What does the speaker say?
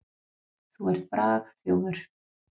Þú ert bragþjófur.